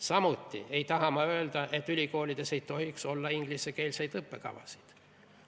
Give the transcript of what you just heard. Samuti ei taha ma öelda, et ülikoolides ei tohiks olla ingliskeelseid õppekavasid.